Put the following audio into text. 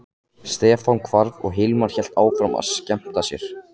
Stefán hvarf og Hilmar hélt áfram að skemmta sér.